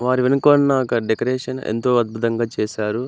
వారి వెనక ఉన్న క డెకొరేషన్ ఎంతో అందంగా చేసారు.